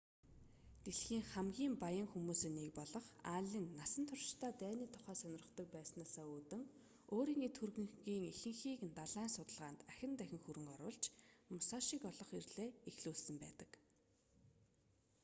дэлхийн хамгийн баян хүмүүсийн нэг болох аллен насан туршдаа дайны тухай сонирхдог байснаасаа үүдэн өөрийн эд хөрөнгийг ихэнхийг далайн судалгаанд ахин дахин хөрөнгө оруулж мусашиг олох эрлээ эхлүүлсэн байдаг